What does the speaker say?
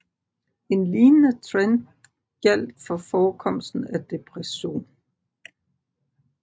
En lignende trend gjaldt for forekomsten af depression